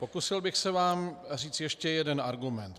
Pokusil bych se vám říci ještě jeden argument.